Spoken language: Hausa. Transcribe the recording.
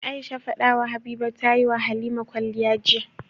Aisha fadawa habiba tayi halima kwaliya jiya